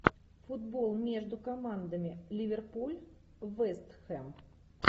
футбол между командами ливерпуль вест хэм